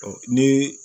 ne